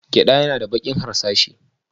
Gyada yana da baki harsashi.